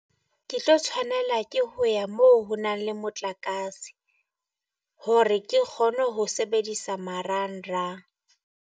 Ke tlo tshwanela ke ho ya mo ho nang le motlakase hore ke kgone ho sebedisa marangrang.